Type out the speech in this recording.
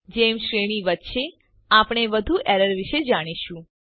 જેમ શ્રેણી વધશે આપણે વધુ એરર વિશે જાણીશું